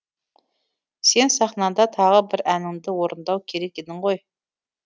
сен сахнада тағы да бір әніңді орындау керек едің ғой